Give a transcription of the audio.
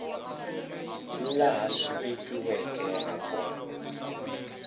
laha swi vekiweke ha kona